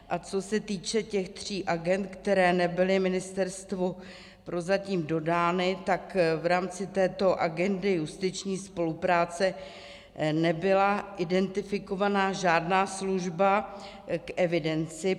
A co se týče těch tří agend, které nebyly ministerstvu prozatím dodány, tak v rámci této agendy justiční spolupráce nebyla identifikovaná žádná služba k evidenci.